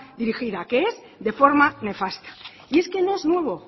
dirigida que es de forma nefasta y es que no es nuevo